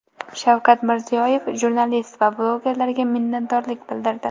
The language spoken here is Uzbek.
Shavkat Mirziyoyev jurnalist va blogerlarga minnatdorlik bildirdi.